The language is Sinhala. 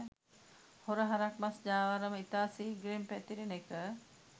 හොර හරක් මස් ජාවාරම ඉතා ශීග්‍රයෙන් පැතිරෙන එක.